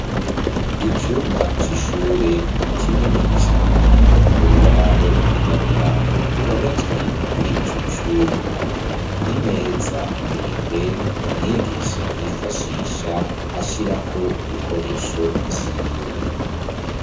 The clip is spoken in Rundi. Icumba c' ishuri kinini cane. Urubaho rwirabura ruhometswe kuri ico cumba. Imeza ndende, umwigisha yifashisha, ashirako ibikoresho vyiwe.